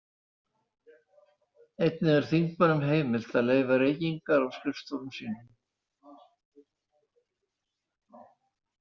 Einnig er þingmönnum heimilt að leyfa reykingar á skrifstofum sínum.